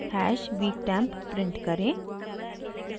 hash weektemp print करें